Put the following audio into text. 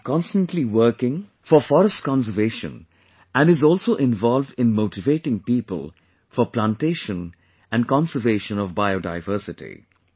He has been constantly working for forest conservation and is also involved in motivating people for Plantation and conservation of biodiversity